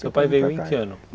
Seu pai veio em que ano?